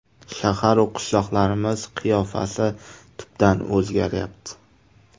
Shahar-u qishloqlarimiz qiyofasi tubdan o‘zgaryapti.